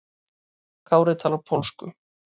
Kári talar pólsku.